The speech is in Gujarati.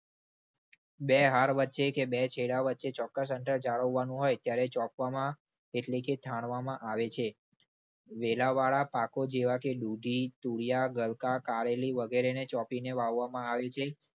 બે હાર વચ્ચે કે બે છેડા વચ્ચે ચોક્કસ અંતર જાળવવાનું હોય ત્યારે ચોંપવામાં એટલે કે થાણવામાં આવે છે. વેલાવાળા પાકો જેવા કે દૂધી તુરીયા ગલકા કારેલી વગેરેને ચોપીને વાવવામાં આવે છે.